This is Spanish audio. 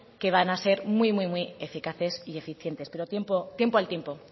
que van a ser muy muy eficaces y eficientes pero tiempo al tiempo